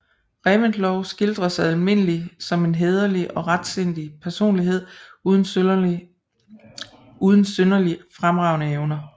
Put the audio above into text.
Reventlow skildres almindelig som en hæderlig og retsindig personlighed uden synderlig fremragende evner